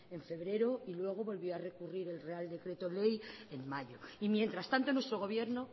en febrero y luego volvió a recurrir el real decreto ley en mayo y mientras tanto nuestro gobierno